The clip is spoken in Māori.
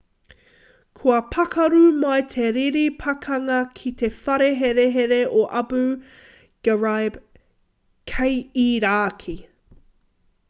kua pakaru mai te riri pakanga ki te whare herehere o abu ghraib kei irāki